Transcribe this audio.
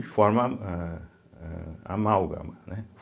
E forma a a amálgama, né?